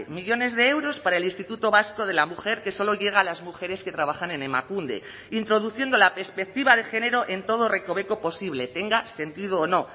millónes de euros para el instituto vasco de la mujer que solo llega a las mujeres que trabajan en emakunde introduciendo la perspectiva de género en todo recoveco posible tenga sentido o no